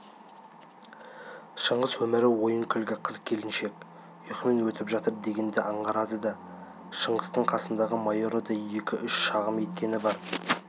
шыңғыс өмірі ойын-күлкі қыз-келіншек ұйқымен өтіп жатыр дегенді аңғартады шыңғыстың қасындағы майоры да екі-үш шағым еткені бар